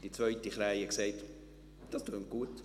Die zweite Krähe sagte, «Das tönt gut.